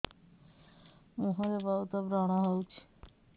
ମୁଁହରେ ବହୁତ ବ୍ରଣ ହଉଛି